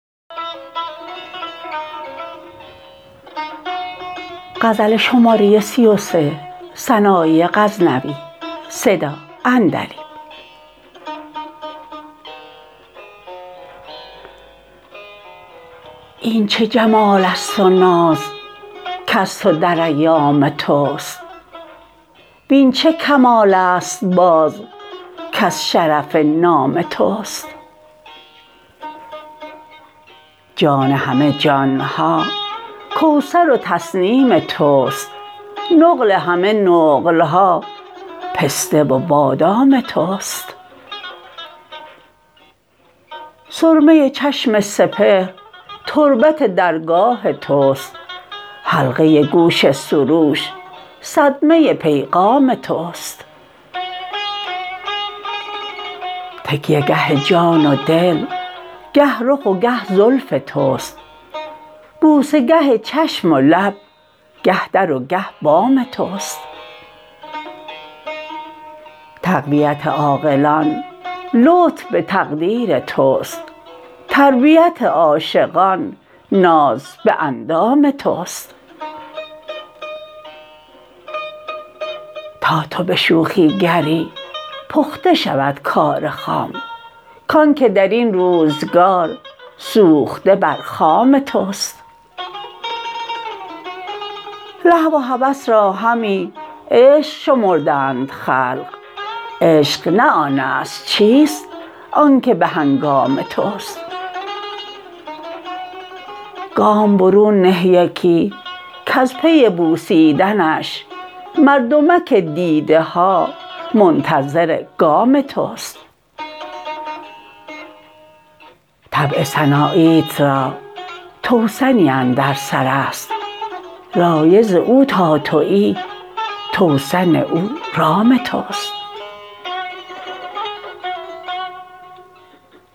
این چه جمالست و ناز کز تو در ایام تست وین چه کمالست باز کز شرف نام تست جان همه جانها کوثر و تسنیم تست نقل همه نقلها پسته و بادام تست سرمه چشم سپهر تربت درگاه تست حلقه گوش سروش صدمه پیغام تست تکیه گه جان و دل گه رخ و گه زلف تست بوسه گه چشم و لب گه در و گه بام تست تقویت عاقلان لطف به تقدیر تست تربیت عاشقان ناز به اندام تست تا تو به شوخی گری پخته شود کار خام کانکه درین روزگار سوخته بر خام تست لهو و هوس را همی عشق شمردند خلق عشق نه آنست چیست آنکه به هنگام تست گام برون نه یکی کز پی بوسیدنش مردمک دیده ها منتظر گام تست طبع سناییت را توسنی اندر سرست رایض او تا تویی توسن او رام تست